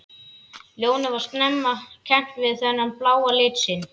Lónið var snemma kennt við þennan bláa lit sinn.